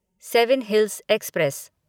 seven hills express